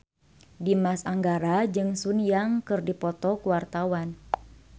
Dimas Anggara jeung Sun Yang keur dipoto ku wartawan